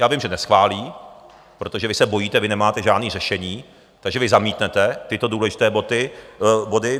Já vím, že neschválí, protože vy se bojíte, vy nemáte žádné řešení, takže vy zamítnete tyto důležité body.